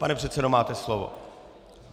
Pane předsedo, máte slovo.